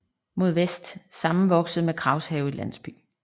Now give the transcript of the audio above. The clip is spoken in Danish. Mod vest sammenvokset med Kraghave landsby